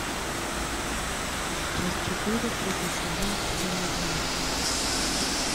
часть четыре третий сезон темный дворецкий